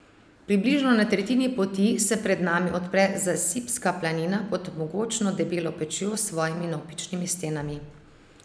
Približno na tretjini poti se pred nami odpre Zasipska planina pod mogočno Debelo pečjo s svojimi navpičnimi stenami.